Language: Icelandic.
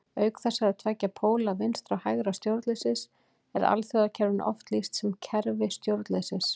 Auk þessara tveggja póla vinstra- og hægra stjórnleysis er alþjóðakerfinu oft lýst sem kerfi stjórnleysis.